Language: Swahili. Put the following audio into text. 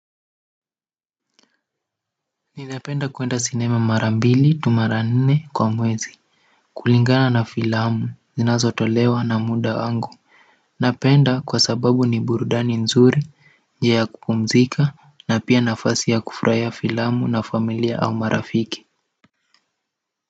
Ninapenda kuenda sinema mara mbili tu au mara nnne kwa mwezi kulingana na filamu zinazotolewa na muda wangu napenda kwa sababu ni burudani nzuri njia ya kupumzika na pia nafasi ya kufurahia filamu na familia au marafiki.